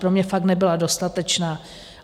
Pro mě fakt nebyla dostatečná.